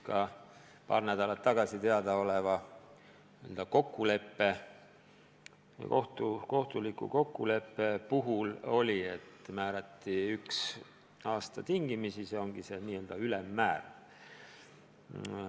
Ka paar nädalat tagasi sõlmitud kohtuliku kokkuleppe puhul määrati karistuseks üks aasta tingimisi, see ongi see n-ö ülemmäär.